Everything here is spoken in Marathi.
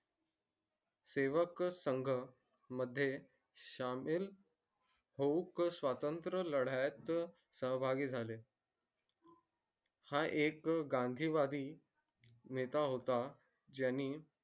सेवक संघ मध्ये शामील होऊ स्वतंत्र लड्यात सहभागी झाले हा एक गांधी वादी नेता होता ज्यांनी